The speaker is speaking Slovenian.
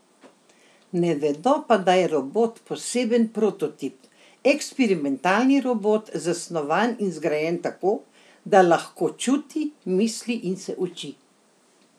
Ne vedo pa, da je robot poseben prototip, eksperimentalni robot, zasnovan in zgrajen tako, da lahko čuti, misli in se uči.